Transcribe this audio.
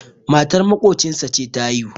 matar maƙocinsa ce ta haihu